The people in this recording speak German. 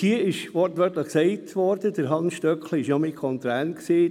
Hans Stöckli war auch anwesend, er war ja mein Kontrahent.